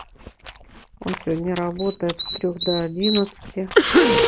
он сегодня работает с трёх до одиннадцати